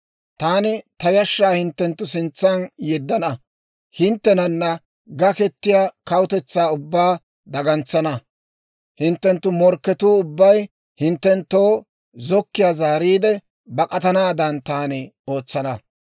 «Taani ta yashshaa hinttenttu sintsan yeddana; hinttenana gakettiyaa kawutetsaa ubbaa dagantsana; hinttenttu morkketuu ubbay hinttenttoo zokkiiyaa zaariide, bak'atanaadan taani ootsana.